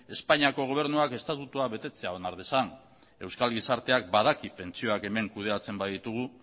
espainiako gobernuak estatutuak betetzea onar dezan euskal gizarteak badaki pentsioak hemen kudeatzen baditugu